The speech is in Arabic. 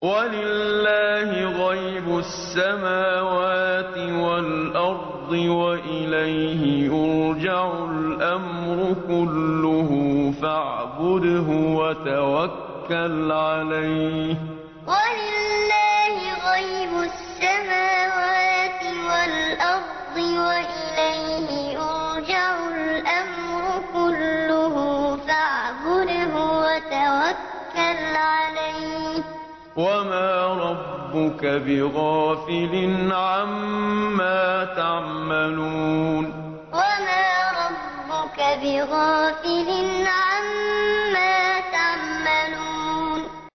وَلِلَّهِ غَيْبُ السَّمَاوَاتِ وَالْأَرْضِ وَإِلَيْهِ يُرْجَعُ الْأَمْرُ كُلُّهُ فَاعْبُدْهُ وَتَوَكَّلْ عَلَيْهِ ۚ وَمَا رَبُّكَ بِغَافِلٍ عَمَّا تَعْمَلُونَ وَلِلَّهِ غَيْبُ السَّمَاوَاتِ وَالْأَرْضِ وَإِلَيْهِ يُرْجَعُ الْأَمْرُ كُلُّهُ فَاعْبُدْهُ وَتَوَكَّلْ عَلَيْهِ ۚ وَمَا رَبُّكَ بِغَافِلٍ عَمَّا تَعْمَلُونَ